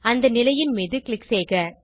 அந்த நிலையின் மீது க்ளிக் செய்க